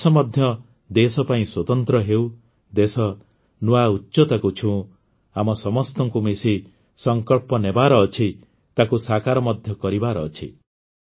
ଏହି ବର୍ଷ ମଧ୍ୟ ଦେଶପାଇଁ ସ୍ୱତନ୍ତ୍ର ହେଉ ଦେଶ ନୂଆ ଉଚ୍ଚତାକୁ ଛୁଉଁ ଆମ ସମସ୍ତଙ୍କୁ ମିଶି ସଂକଳ୍ପ ନେବାର ଅଛି ତାକୁ ସାକାର ମଧ୍ୟ କରିବାର ଅଛି